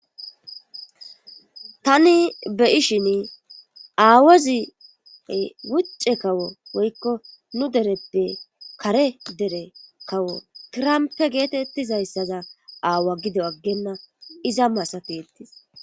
tani beyishin aawoziy wucce kawo woykko nu dereppe kare dere kawo tirampe geetettizayssaza aawa gido aggenna iza masati ettis